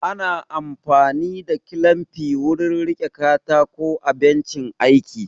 Ana amfani da kilamfi wurin riƙe katako a bencin aiki